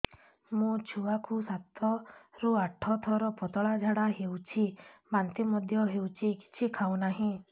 ମୋ ଛୁଆ କୁ ସାତ ରୁ ଆଠ ଥର ପତଳା ଝାଡା ହେଉଛି ବାନ୍ତି ମଧ୍ୟ୍ୟ ହେଉଛି କିଛି ଖାଉ ନାହିଁ